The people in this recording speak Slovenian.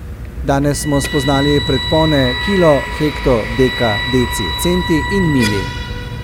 Danes smo spoznali predpone kilo, hekto, deka, deci, centi in mili.